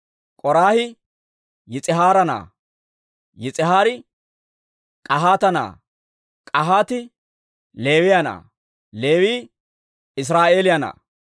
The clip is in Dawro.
K'oraahi Yis'ihaara na'aa; Yis'ihaari K'ahaata na'aa; K'ahaati Leewiyaa na'aa; Leewii Israa'eeliyaa na'aa.